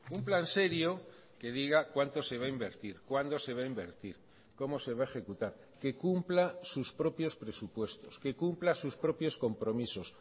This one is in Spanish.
un plan serio que diga cuánto se va a invertir cuándo se va a invertir cómo se va a ejecutar que cumpla sus propios presupuestos que cumpla sus propios compromisos